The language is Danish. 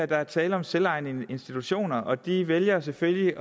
der er tale om selvejende institutioner og de vælger selvfølgelig